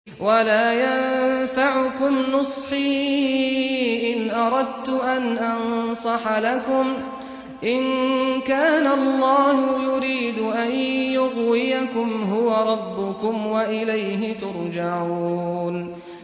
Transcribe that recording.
وَلَا يَنفَعُكُمْ نُصْحِي إِنْ أَرَدتُّ أَنْ أَنصَحَ لَكُمْ إِن كَانَ اللَّهُ يُرِيدُ أَن يُغْوِيَكُمْ ۚ هُوَ رَبُّكُمْ وَإِلَيْهِ تُرْجَعُونَ